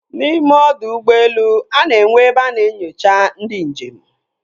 N'ime ọdọ ụgbọelu, a na-enwe ebe a na-enyocha ndị njem.